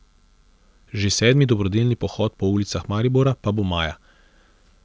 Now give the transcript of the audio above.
Že sedmi dobrodelni pohod po ulicah Maribora pa bo maja.